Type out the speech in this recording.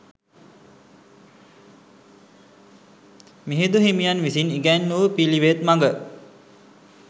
මිහිඳු හිමියන් විසින් ඉගැන් වූ පිළිවෙත් මඟ